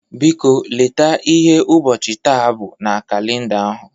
Biko, leta ihe ụbọchị taa bụ na kalịnda ahụ.